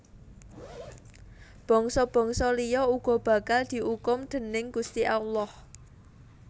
Bangsa bangsa liya uga bakal diukum déning Gusti Allah